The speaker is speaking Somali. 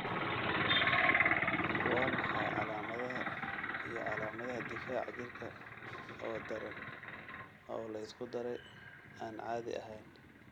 Waa maxay calaamadaha iyo calaamadaha difaaca jirka oo daran oo la isku daray, aan caadi ahayn?